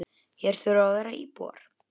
Hér þurfa að vera íbúar.